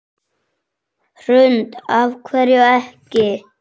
Hrund: Af hverju ekki?